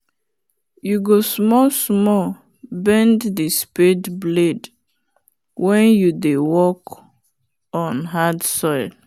you go small small bend the spade blade wen you dey work oh hard soil